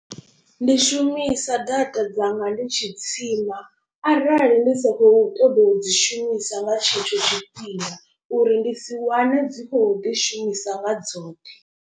Ndi shumisa data dzanga ndi tshi tsima arali ndi sa khou ṱoḓa u dzi shumisa nga tshetsho tshifhinga. Uri ndi si wane dzi khou ḓi shumisa nga dzoṱhe.